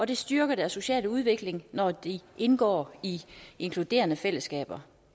det styrker deres sociale udvikling når de indgår i inkluderende fællesskaber